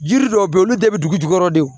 Jiri dɔw be yen olu bɛɛ be dugu jukɔrɔ de